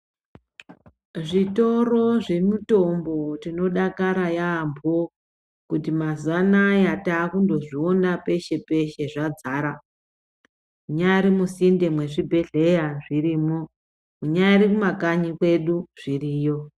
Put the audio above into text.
Zvitoro zvemutombo tinodakara yaampho kuti mazuwa anaya takundozviona peshe peshe zvadzara munyari musinde mwezvibhedhleya zvirimwo munyari mukanyi kwedu zviriyo.